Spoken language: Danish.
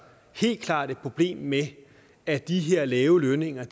helt klart et problem med at de her lave lønninger